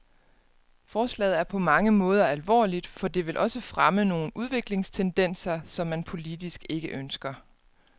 Forslaget er på mange måder alvorligt, for det vil også fremme nogle udviklingstendenser, som man politisk ikke ønsker.